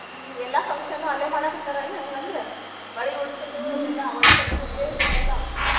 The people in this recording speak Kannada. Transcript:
ಹ್ಮ್ ಎಲ್ಲಾ function ಉ ಅಲ್ಲೇ ಮಾಡಾಕತ್ತಾರ ಏನ್ ಹಂಗ ಅಂದ್ರ? ಬಳಿ ಒಳಕಲ್ಲ್ ಪೂಜೆ ಇಂತಾವೆಲ್ಲಾ?